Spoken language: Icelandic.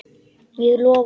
Ég lofa því.